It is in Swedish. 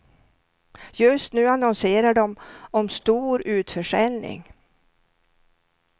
Just nu annonserar de om stor utförsäljning.